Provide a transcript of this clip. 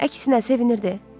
Əksinə sevinirdi.